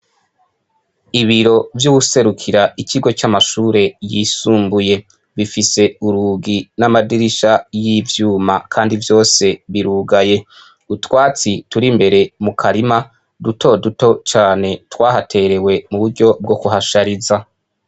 Ibiro vy'uwuserukira ikigo c'amashure yisumbuye gifise urugi namadirisha y'ivyuma kandi vyose birugaye, utwatsi tur'imbere mukarima dutoduto cane twahaterewe muburyo bwo kuhashariza.